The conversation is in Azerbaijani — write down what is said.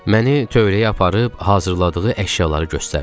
Məni tövləyə aparıb hazırladığı əşyaları göstərdi.